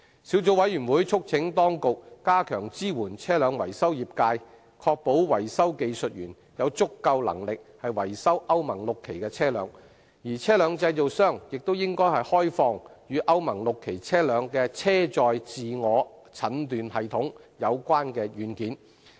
小組委員會促請當局加強支援車輛維修業界，確保維修技術員有足夠能力維修歐盟 VI 期車輛，而車輛製造商亦應開放與歐盟 VI 期車輛的車載自我診斷系統有關的軟件。